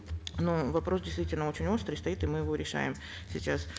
но вопрос действительно очень острый стоит и мы его решаем сейчас